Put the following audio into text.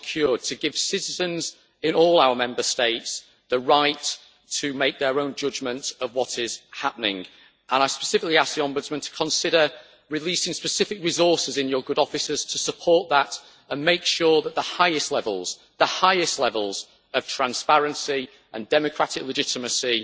order to give citizens in all our Member States the right to make their own judgments about what is happening. I specifically ask the Ombudsman to consider releasing specific resources in her good offices to support that and to make sure that the highest levels I stress the highest levels of transparency and democratic legitimacy